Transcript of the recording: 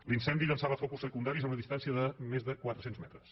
l’incendi llançava focus secundaris a una distància de més de quatre cents metres